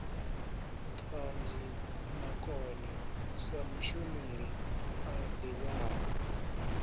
ṱhanzimakone sa mushumeli a ḓivhaho